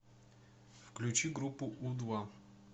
включи группу у два